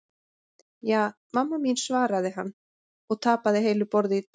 Ja, mamma mín svaraði hann og tapaði heilu borði í tölvuleiknum.